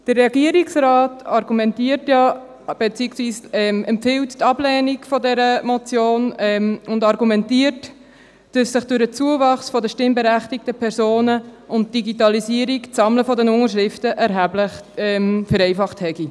Der Regierungsrat empfiehlt die Ablehnung dieser Motion und argumentiert, durch den Zuwachs der stimmberechtigten Personen und die Digitalisierung sei das Sammeln der Unterschriften erheblich vereinfacht worden.